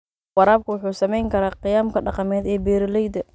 Waraabku wuxuu saameyn karaa qiyamka dhaqameed ee beeralayda.